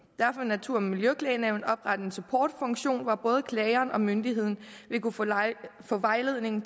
vil natur og miljøklagenævnet oprette en supportfunktion hvor både klageren og myndigheden vil kunne få vejledning